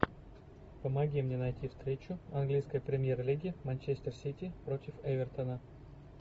помоги мне найти встречу английской премьер лиги манчестер сити против эвертона